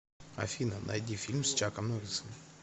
афина найди фильм с чаком норрисом